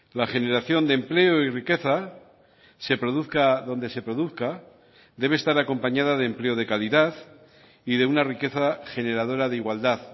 la generación de empleo y riqueza se produzca donde se produzca debe estar acompañada de empleo de calidad y de una riqueza generadora de igualdad